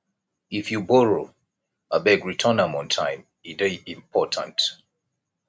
if you borrow abeg return am on time e dey important